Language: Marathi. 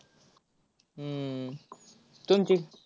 हम्म तुमची?